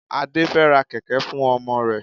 Adé fẹ ra kẹ̀kẹ́ fún ọmọ rẹ̀.